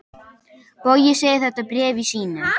Bogi segir þetta í bréfi sínu: